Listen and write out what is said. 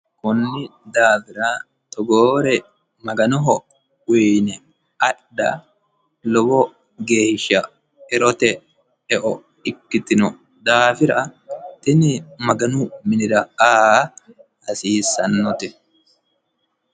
Konni daafira togoore maganoho uyiine adha lowo geeshsha erote eo ikkitino daafira tini maganu minira aa hasiissanote.